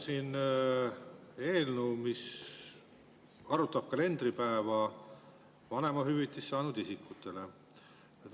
See on eelnõu, mis arvutab vanemahüvitist saanud isikute kalendripäeva.